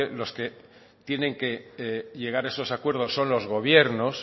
los que tienen que llegar a esos acuerdos son los gobiernos